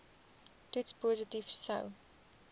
toets positief sou